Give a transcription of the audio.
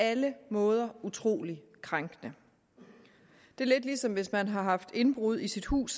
alle måder utrolig krænkende det er lidt ligesom hvis man har haft indbrud i sit hus